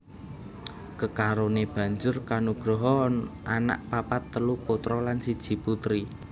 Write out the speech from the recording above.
Kekarone banjur kanugraha anak papat telu putra lan siji putri